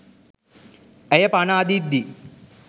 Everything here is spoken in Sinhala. ඇය පණ අදිද්දී